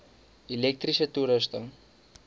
elektriese toerusting